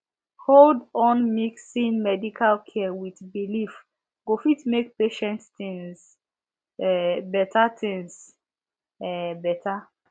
hold on mixin medical care wit belief go fit make patient tinz um beta tinz um beta